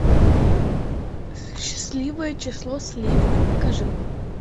счастливое число слевина покажи